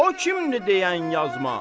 O kimdi deyən yazma.